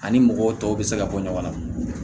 Ani mɔgɔw tɔw bɛ se ka bɔ ɲɔgɔn na